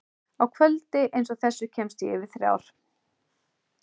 Á kvöldi einsog þessu kemst ég yfir þrjár.